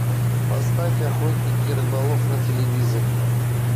поставь охотник и рыболов на телевизоре